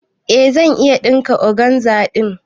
Eh zan iya ɗinka organza ɗin.